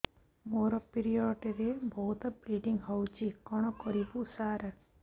ମୋର ପିରିଅଡ଼ ରେ ବହୁତ ବ୍ଲିଡ଼ିଙ୍ଗ ହଉଚି କଣ କରିବୁ ସାର